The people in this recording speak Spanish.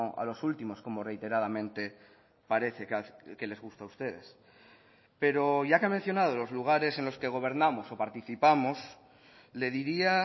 a los últimos como reiteradamente parece que les gusta a ustedes pero ya que ha mencionado los lugares en los que gobernamos o participamos le diría